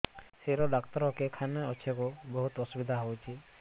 ଶିର ଡାକ୍ତର କେଖାନେ ଅଛେ ଗୋ ବହୁତ୍ ଅସୁବିଧା ହଉଚି